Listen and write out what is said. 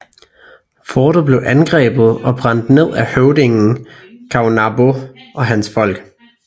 Fortet blev angrebet og brændt ned af høvdingen Caonabó og hans folk